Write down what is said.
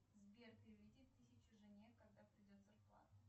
сбер переведи тысячу жене когда придет зарплата